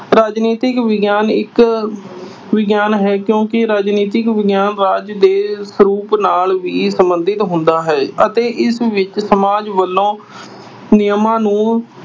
ਰਾਜਨੀਤਿਕ ਵਿਗਿਆਨ ਇੱਕ ਵਿਗਿਆਨ ਹੈ ਕਿਉਂ ਕਿ ਰਾਜਨੀਤਿਕ ਵਿਗਿਆਨ ਰਾਜ ਦੇ ਸਰੂਪ ਨਾਲ ਵੀ ਸਬੰਧਿਤ ਹੁੰਦਾ ਹੈ ਅਤੇ ਇਸ ਵਿੱਚ ਸਮਾਜ ਵੱਲੋਂ ਨਿਯਮਾਂ ਨੂੰ